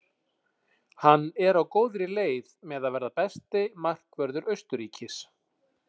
Hann er á góðri leið með að verða besti markvörður Austurríkis.